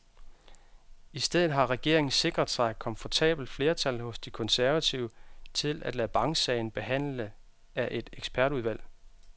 I stedet har regeringen sikret sig komfortabelt flertal hos de konservative til at lade banksagen behandle af et ekspertudvalg.